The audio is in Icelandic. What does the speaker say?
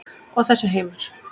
Og þessi heimur?